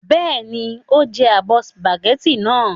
Bẹ́ẹ̀ni, o jẹ abọ́ sìpàgẹ́tì náà.